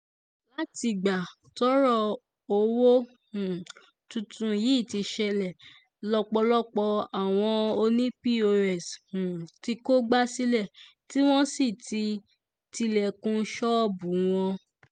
látìgbà tọ́rọ̀ owó um tuntun yìí ti ṣẹlẹ̀ lọ́pọ̀lọpọ̀ àwọn ọ̀nì pọ́s um ti kógbá sílé tí wọ́n ti tilẹ̀kùn ṣọ́ọ̀bù wọn